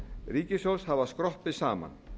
ríkissjóðs hafa skroppið saman